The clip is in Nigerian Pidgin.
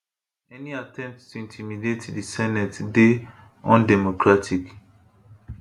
any attempt to intimidate di senate dey undemocratic